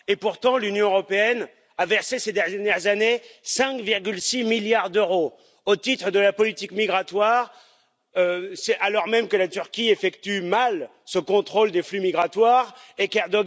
Pourtant, l'Union européenne a versé ces dernières années 5,6 milliards d'euros au titre de la politique migratoire, alors même que la Turquie effectue mal ce contrôle des flux migratoires et que M.